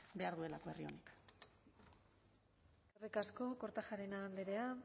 behar duelako herri honek eskerrik asko kortajarena andrea